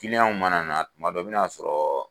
mana na, tuma dɔ i bɛ n'a sɔrɔ.